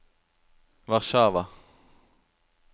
Warszawa